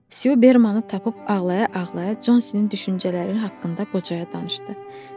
Su Bermanı tapıb ağlaya-ağlaya Consinin düşüncələri haqqında qocaya danışdı.